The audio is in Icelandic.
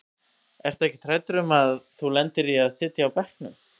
Ertu ekkert hræddur um að þú lendir í að sitja á bekknum?